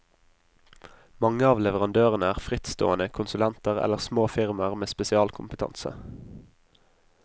Mange av leverandørene er frittstående konsulenter eller små firmaer med spesialkompetanse.